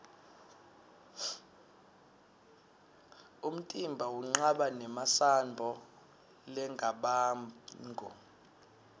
umtimba unqaba nemasambo largabamgu